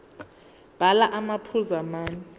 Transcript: bhala amaphuzu amane